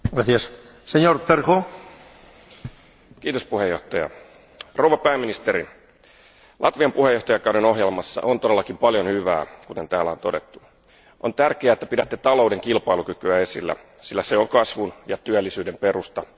Arvoisa puhemies, rouva pääministeri, Latvian puheenjohtajakauden ohjelmassa on todellakin paljon hyvää, kuten täällä on todettu. On tärkeää, että pidätte talouden kilpailukykyä esillä, sillä se on kasvun ja työllisyyden perusta.